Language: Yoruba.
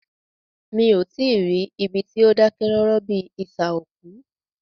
Mí o tí ì rí ibi tí o dákẹ́ rọ́rọ́ bíi isà òkú.